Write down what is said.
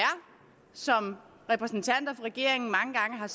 som repræsentanter for regeringen mange gange har